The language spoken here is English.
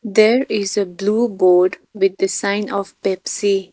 there is a blue board with the sign of pepsi.